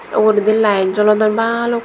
tey uguredi light jolodon baluk.